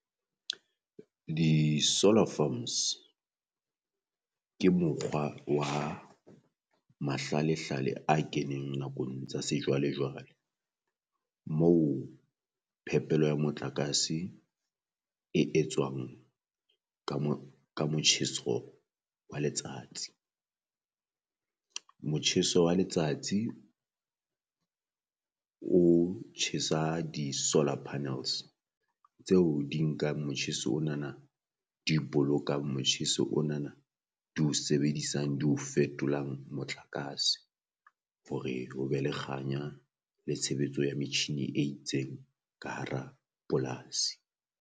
Di solar farms ke mokgwa wa mahlalehlale a keneng nakong tsa sejwalejwale, moo phepelo ya motlakase e etswang ka mo ka motjheso wa letsatsi. Motjheso wa letsatsi o tjhesa di solar panels tseo di nkang motjheso onana di bolokang motjheso onana di o sebedisang di o fetolang motlakase hore ho be le kganya le tshebetso ya metjhine e itseng ka hara polasi.